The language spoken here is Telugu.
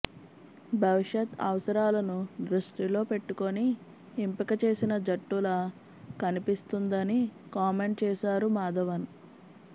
భవిష్యత్ అవసరాలను దృష్టిలో పెట్టుకుని ఎంపిక చేసిన జట్టులా కనిపిస్తుందని కామెంట్ చేశారు మాధవన్